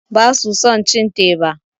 Basu son cin teba.